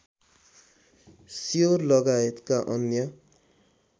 sure लगायतका अन्य